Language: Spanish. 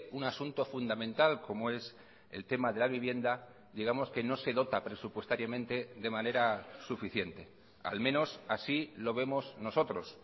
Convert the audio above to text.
un asunto fundamental como es el tema de la vivienda digamos que no se dota presupuestariamente de manera suficiente al menos así lo vemos nosotros